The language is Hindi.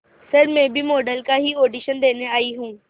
सर मैं भी मॉडल का ही ऑडिशन देने आई हूं